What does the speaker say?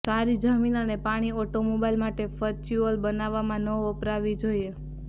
સારી જમીન અને પાણી ઓટોમોબાઈલ માટે ફ્યુઅલ બનાવવામાં ન વપરાવવી જોઈએ